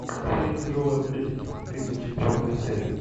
фея тяжелой атлетики тридцать четвертая серия